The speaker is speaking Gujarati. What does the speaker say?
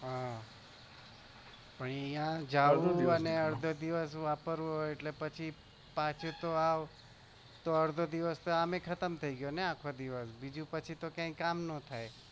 હુઆ પણ અહીંયા જવું અને અર્ધો દિવસ વાપરવું પાછું તો અર્ધો દિવસ જાય એટલે પાછું કોઈ કામ ના થાય